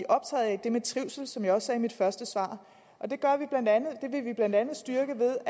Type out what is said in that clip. optaget af det med trivsel som jeg også sagde i mit første svar det vil vi blandt andet styrke ved